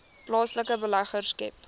plaaslike beleggers skep